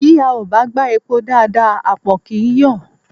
Bí a ò bá gbá epo dáadáa àpọ̀n kì í yọ̀